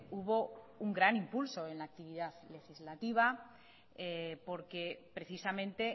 hubo un gran impulso en la actividad legislativa porque precisamente